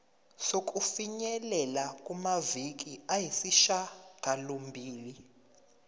sokufinyelela kumaviki ayisishagalombili